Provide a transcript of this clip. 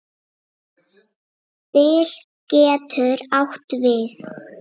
Bil getur átt við